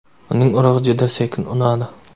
Uning urug‘i juda sekin unadi.